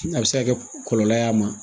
A bɛ se ka kɛ kɔlɔlɔ y'a ma